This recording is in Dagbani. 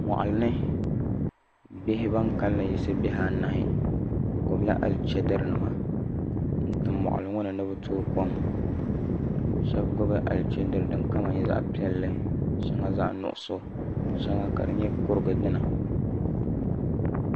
Moɣili ni bihi ban kanli yiɣisi bihi anahi bi gbubila alichɛdiri nima n tim moɣali ŋo ni ni bi tooi kom shab gbubi alichɛdiri din kama nyɛ zaɣ piɛlli shɛŋa zaɣ nuɣso shɛŋa ka di nyɛ kurugu dina